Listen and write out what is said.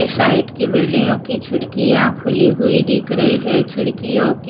ये साइड की बिल्डिंगों की खिड़कियां खुली हुई दिख रही है खिड़कियों की--